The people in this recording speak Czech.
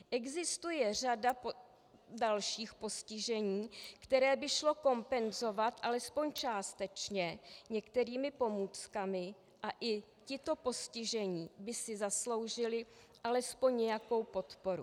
Existuje řada dalších postižení, která by šlo kompenzovat alespoň částečně některými pomůckami, a i tito postižení by si zasloužili alespoň nějakou podporu.